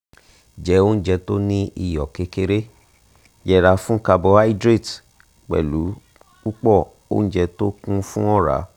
jẹ oúnjẹ tó ní iyọ̀ kékeré yẹra fún carbohydrate púpọ̀ oúnjẹ tó kún fún ọ̀rá